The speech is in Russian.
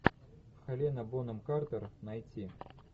хелена бонем картер найти